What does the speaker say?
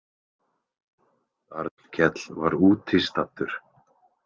Arnkell var úti staddur.